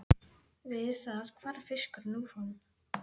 Við það hvarf fiskurinn úr honum.